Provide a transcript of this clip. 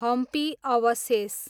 हम्पी अवशेष